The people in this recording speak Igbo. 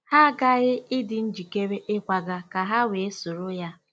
Ha aghaghị ịdị njikere ịkwaga ka ha wee soro ya.